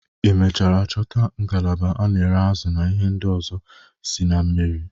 Ị mechara chọta ngalaba a na-ere azụ na ihe ndị ọzọ si na mmiri?